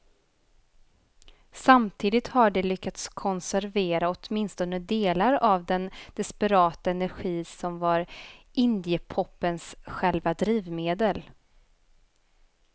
Samtidigt har de lyckats konservera åtminstone delar av den desperata energi som var indiepopens själva drivmedel.